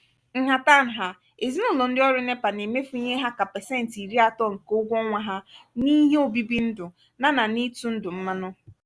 nhata-nha ezinụlọ ndị ọrụ nepa na-emefu ihe ha kà pesenti irí atọ nke ụgwọ ọnwa ha n'ihe obibi ndu na n'ego itụ ndụ mmanụ.